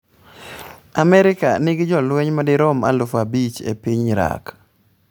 Amerka nigi jolweny madirom aluf abich e piny Iraq.